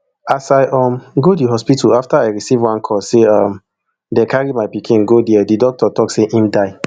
as i um go di hospital afta i receive one call say um dem carry my pikin go dia di doctor tok say im die